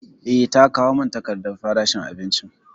Eh, ta kawo mun takardan farashin abinicin